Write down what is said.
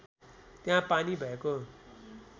त्यहाँ पानी भएको